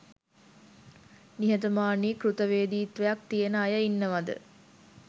නිහතමානී කෘත වේදීත්වයක් තියෙන අය ඉන්නවද